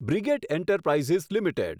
brigade enterprises limited